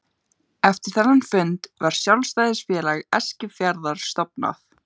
Eftir þennan fund var Sjálfstæðisfélag Eskifjarðar stofnað.